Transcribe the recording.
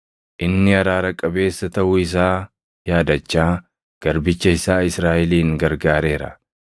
Inni araara qabeessa taʼuu isaa yaadachaa garbicha isaa Israaʼelin gargaareera;